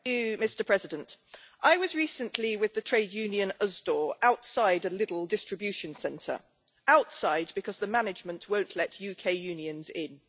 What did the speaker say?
Mr President, I was recently with the trade union Usdaw outside a Lidl distribution centre outside, because the management won't let UK unions in.